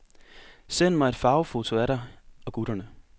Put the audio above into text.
Send mig et farvefoto af dig og gutterne.